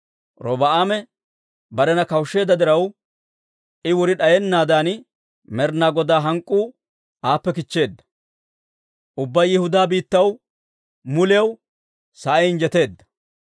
Robi'aame barena kawushsheedda diraw, I wuri d'ayennaadan Med'inaa Godaa hank'k'uu aappe kichcheedda. Ubbaa Yihudaa biittaw muliyaw sa'ay injjeteedda.